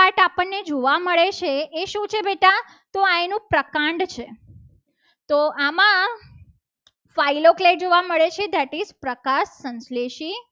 માંથી આજે green જોવા મળે છે. એ શું છે બેટા? તો અહીંનું પ્રકાંડ છે. તો આમાં phylong જોવા મળે છે that is પ્રકાશ સંશ્લેષિત